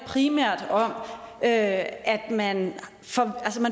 primært om at man